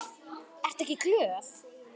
Ertu ekki glöð?